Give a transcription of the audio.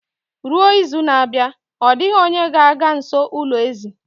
Ruo izu na-abịa, ọ dịghị onye ga-aga nso ulo ezì